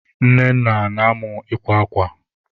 Nnenna na-amụ ịkwa akwa.